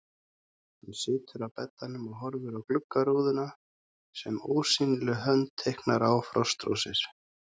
Hann situr á beddanum og horfir á gluggarúðuna sem ósýnileg hönd teiknar á frostrósir.